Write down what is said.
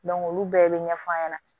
olu bɛɛ bɛ ɲɛfɔ a ɲɛna